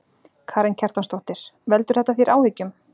Karen Kjartansdóttir: Veldur þetta þér áhyggjum?